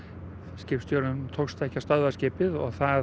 skipstjóranum tókst ekki að stöðva skipið og það